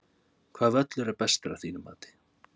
Hvaða völlur er bestur af þínu mati?